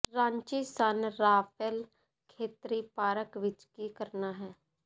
Ranchi San Rafael ਖੇਤਰੀ park ਵਿਚ ਕੀ ਕਰਨਾ ਹੈ